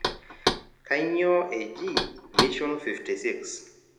kanyoo eji mishon 56?